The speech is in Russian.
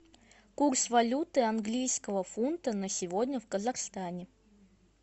курс валюты английского фунта на сегодня в казахстане